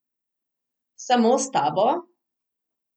Samo s tabo?